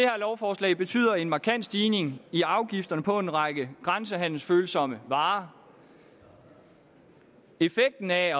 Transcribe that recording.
lovforslag betyder en markant stigning i afgifterne på en række grænsehandelsfølsomme varer effekten af